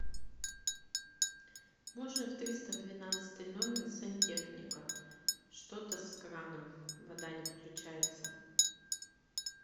можно в триста двенадцатый номер сантехника что то с краном вода не включается